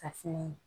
Ka filen